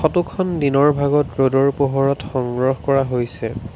Photo খন দিনৰ ভাগত ৰ'দৰ পোহৰত সংগ্ৰহ কৰা হৈছে।